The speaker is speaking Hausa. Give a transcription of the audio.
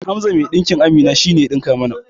Hamza mai ɗinkin Amina shine ya ɗinka mana